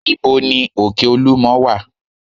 Ìbo ní òkè olúmo wà?